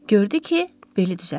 Gördü ki, beli düzəldi.